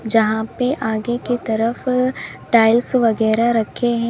जहां पे आगे की तरफ टाइल्स वगैरा रखे हैं।